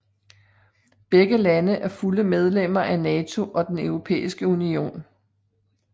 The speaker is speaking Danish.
Begge lande er fulde medlemmer af NATO og Den Europæiske Union